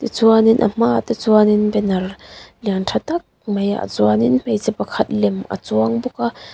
chuanin a hmaah te chuanin banner lian tha tak maiah chuanin hmeichhe pakhat lem a chuang bawk a.